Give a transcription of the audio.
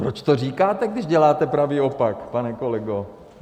Proč to říkáte, když děláte pravý opak, pane kolego?